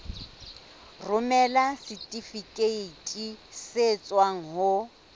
romela setifikeiti se tswang ho